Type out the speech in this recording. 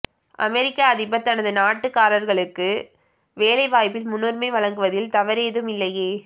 அமெரிக்க அதிபர் தனது நாட்டுக்காரர்களுக்கு வேலை வாய்ப்பில் முன்னுரிமை வழங்குவதில் தவறேதும் இல்லையே